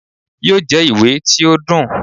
yóò jẹ ìwé tí o dùn.